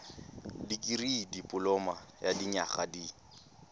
dikirii dipoloma ya dinyaga di